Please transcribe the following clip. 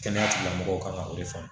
Kɛnɛya tigilamɔgɔw ka o de faamu